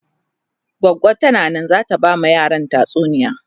goggo tana Nan zata ta ba ma yaran tatsuniya